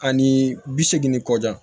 Ani bi seegin kɔ da